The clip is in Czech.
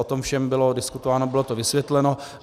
O tom všem bylo diskutováno, bylo to vysvětleno.